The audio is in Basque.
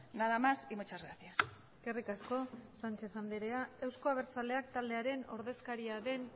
nada más y muchas gracias eskerrik asko sánchez andrea euzko abertzaleak taldearen ordezkaria den